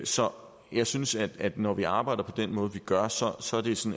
så jeg synes at at når vi arbejder på den måde vi gør så er sådan